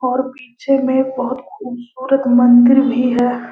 और पीछे में बहुत खूबसूरत मंदिर भी है।